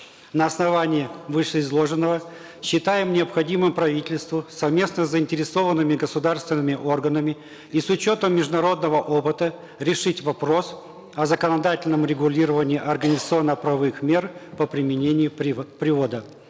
на основании вышеизложенного считаем необходимым правительству совместно с заинтересованными государственными органами и с учетом международного опыта решить вопрос о законодательном регулировании организационно правовых мер по применению привода